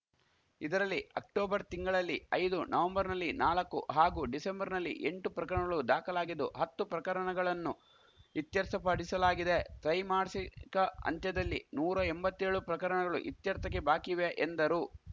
ಇದರಲ್ಲಿ ಅಕ್ಟೋಬರ್‌ ತಿಂಗಳಲ್ಲಿ ಐದು ನವೆಂಬರ್‌ನಲ್ಲಿ ನಾಲ್ಕು ಹಾಗೂ ಡಿಸೆಂಬರ್ ನಲ್ಲಿ ಎಂಟು ಪ್ರಕರಣಗಳು ದಾಖಲಾಗಿದ್ದು ಹತ್ತು ಪ್ರಕರಣಗಳನ್ನು ಇತ್ಯರ್ಥಪಡಿಸಲಾಗಿದೆ ತ್ರೈಮಾಸಿಕ ಅಂತ್ಯದಲ್ಲಿ ನೂರ ಎಂಬತ್ತೇಳು ಪ್ರಕರಣಗಳು ಇತ್ಯರ್ಥಕ್ಕೆ ಬಾಕಿಯಿವೆ ಎಂದರು